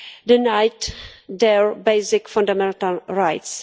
denied their basic fundamental rights